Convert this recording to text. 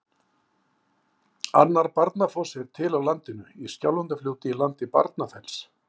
Annar Barnafoss er til á landinu, í Skjálfandafljóti í landi Barnafells.